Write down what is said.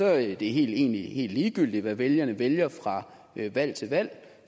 at det egentlig helt ligegyldigt hvad vælgerne vælger fra valg til valg